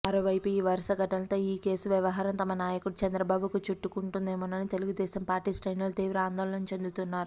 మరోవైపు ఈ వరుస ఘటనలతో ఈకేసు వ్యవహారం తమ నాయకుడు చంద్రబాబుకు చుట్టుకుంటుదేమోనని తెలుగుదేశం పార్టీ శ్రేణులు తీవ్ర ఆందోళచెందుతున్నారు